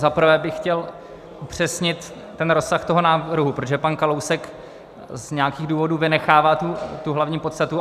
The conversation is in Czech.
Za prvé bych chtěl upřesnit ten rozsah toho návrhu, protože pan Kalousek z nějakých důvodů vynechává tu hlavní podstatu.